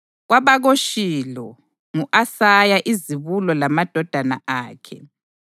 KwabakoShilo ngu-Asaya izibulo lamadodana akhe.